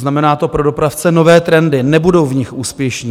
Znamená to pro dopravce nové trendy, nebudou v nich úspěšní.